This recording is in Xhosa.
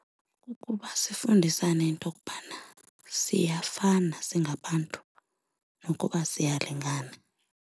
Kukuba sifundisane into yokubana siyafana singabantu nokuba siyalingana.